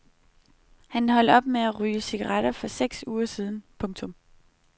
Han holdt op med at ryge cigaretter for seks uger siden. punktum